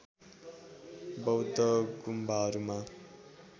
बौद्ध गुम्बाहरूमा